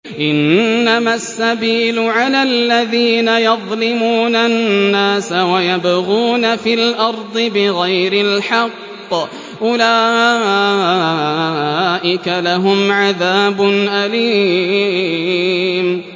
إِنَّمَا السَّبِيلُ عَلَى الَّذِينَ يَظْلِمُونَ النَّاسَ وَيَبْغُونَ فِي الْأَرْضِ بِغَيْرِ الْحَقِّ ۚ أُولَٰئِكَ لَهُمْ عَذَابٌ أَلِيمٌ